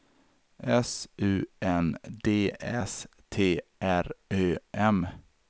S U N D S T R Ö M